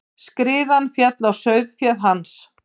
Skriðan féll á sauðféð hans.